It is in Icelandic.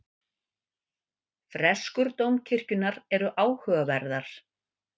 Freskur dómkirkjunnar eru áhugaverðar.